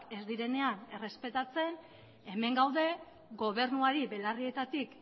ez direnean errespetatzen hemen gaude gobernuari belarrietatik